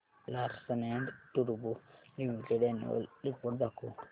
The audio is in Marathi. लार्सन अँड टुर्बो लिमिटेड अॅन्युअल रिपोर्ट दाखव